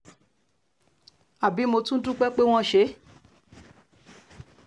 àbí mo tún dúpẹ́ pé wọ́n ṣe é